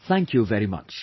Thank you very much